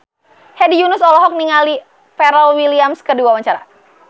Hedi Yunus olohok ningali Pharrell Williams keur diwawancara